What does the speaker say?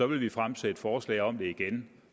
vil vi fremsætte forslag om det igen